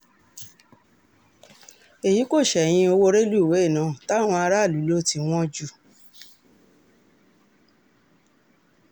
èyí kò ṣẹ̀yìn owó rélùwéè náà táwọn aráàlú lò tí wọ́n jù